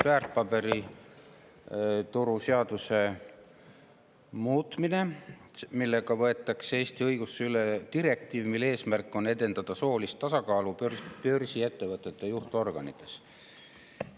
Väärtpaberituru seaduse muutmise seaduse eelnõuga võetakse Eesti õigusesse üle direktiiv, mille eesmärk on edendada soolist tasakaalu börsiettevõtete juhtorganites.